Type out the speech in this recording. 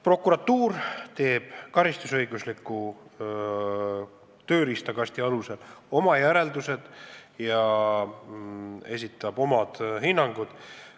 Prokuratuur teeb karistusõigusliku tööriistakasti alusel oma järeldused ja esitab oma hinnangud.